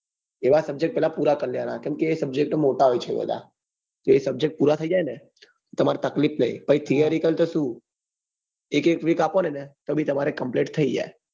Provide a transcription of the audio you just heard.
એવા subject પેલા પુરા કર લેવા નાં કેમ કે એ subject મોટા હોય છે બધા એ subject પુરા થઈજાય ને તમાર તકલીફ નહિ પછી theory cal તો શું એક એક week આપો ને તો બી complete થઇ જાય